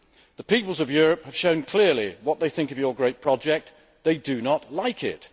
The peoples of Europe have shown clearly what they think of this great project they do not like it.